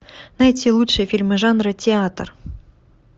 найти лучшие фильмы жанра театр